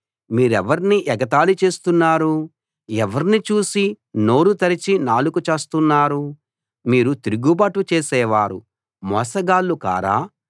మీరెవర్ని ఎగతాళి చేస్తున్నారు ఎవర్ని చూసి నోరు తెరచి నాలుక చాస్తున్నారు మీరు తిరుగుబాటు చేసేవారూ మోసగాళ్ళూ కారా